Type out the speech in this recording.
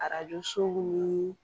Arajo so nii